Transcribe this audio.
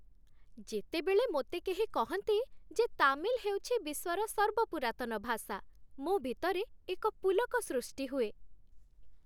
ଯେତେବେଳେ ମୋତେ କେହି କହନ୍ତି ଯେ ତାମିଲ ହେଉଛି ବିଶ୍ୱର ସର୍ବପୁରାତନ ଭାଷା, ମୋ ଭିତରେ ଏକ ପୁଲକ ସୃଷ୍ଟି ହୁଏ ।